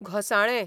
घोंसाळें